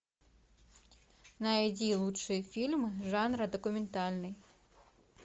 найди лучшие фильмы жанра документальный